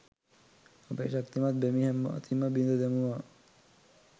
අපේ ශක්තිමත් බැමි හැම අතින්ම බිඳ දැමුවා.